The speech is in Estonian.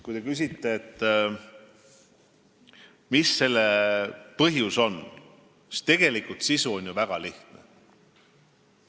Kui te küsite, mis selle põhjus on, siis tegelikult on selle sisu väga lihtne.